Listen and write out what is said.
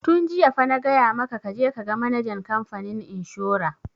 Tun jiya fa na gaya maka ka je ka ga manajan kamfanin inshora!